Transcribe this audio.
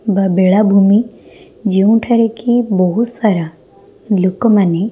ବା ବେଳା ଭୂମି ଯେଉଁଠାରେ କି ବୋହୁତ ସାରା ଲୋକମାନେ।